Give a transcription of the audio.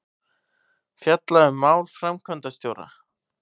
Fjalla um mál framkvæmdastjóra